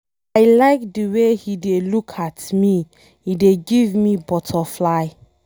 I like the way he dey look at me, he dey give me butterfly.